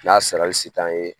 N'a sarali se t'an ye